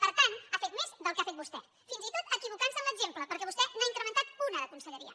per tant ha fet més del que ha fet vostè fins i tot equivocant se en l’exemple perquè vostè n’ha incrementat una de conselleria